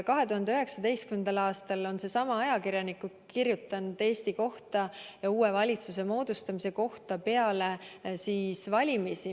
2019. aastal on seesama ajakirjanik kirjutanud pärast valimisi Eesti kohta ja uue valitsuse moodustamise kohta.